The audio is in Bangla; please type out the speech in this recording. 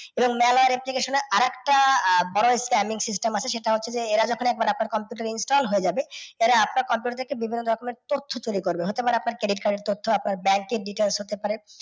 এবং মেলার application এ আর একটা আহ বড় scam এর system আছে সেটা হচ্ছে যে এরা যখন একবার আপনার computer এ install হয়ে যাবে এরা আপনার computer এ বিভিন্ন রকমের তথ্য চুরি করবে। হতে পারে আপনার credit card এর তথ্য, আপনার ব্যাঙ্কের details হতে পারে।